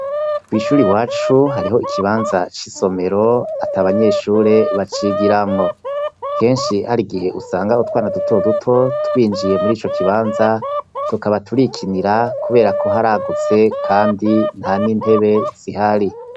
Kwishure iwacu hariho ikibabanza cisomero atabanyeshure bacigiramwo, kenshi harigihe usanga utwana duto duto twinjiiye muri ico kibanza tukaba turikinira kuberako haragutse kandi ntanintebe zihari.